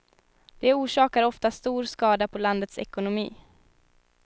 De orsakar ofta stor skada på landets ekonomi.